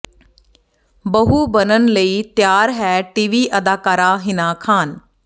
ਬਹੂ ਬਣਨ ਲਈ ਤਿਆਰ ਹੈ ਟੀਵੀ ਅਦਾਕਾਰਾ ਹਿਨਾ ਖ਼ਾਨ